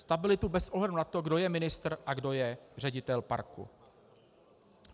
Stabilitu bez ohledu na to, kdo je ministr a kdo je ředitel parku.